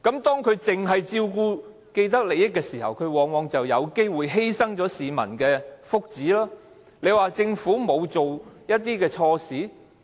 當它只是照顧既得利益者時，往往便會有機會犧牲掉市民的福祉，她說政府沒有做錯事嗎？